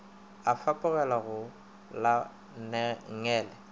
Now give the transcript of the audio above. o fapogela go la nngele